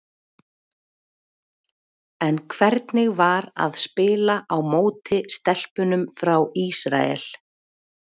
En hvernig var að spila á móti stelpunum frá Ísrael?